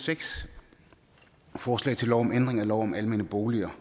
seks er forslag til lov om ændring af lov om almene boliger